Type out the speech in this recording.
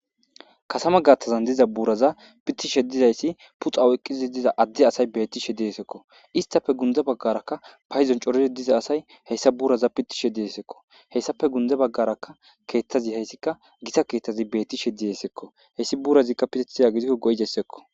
katama gaathtazan diza buuraza pittishe dizayssi puxaw eqqizi diza adde asay bettishe diesekko istafe gunde baggaraka payizon corire diza asay heyssa buuraza pittishe diesekko hessafe gunde baggarakka keettazi heyssikka gisa keeththazi beettishe diyesekko heyssi buurazikka pitetiya gidiko goydessekko